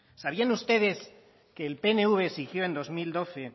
sabían ustedes que el pnv exigió en dos mil doce